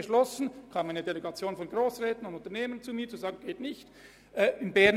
Es kam damals eine Delegation von Grossräten und Unternehmern zu mir, die sagten, dass dies nicht angehe.